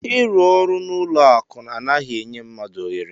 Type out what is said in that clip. Ịrụ ọrụ n'ụlọ akụ anaghị enye mmadụ ohere.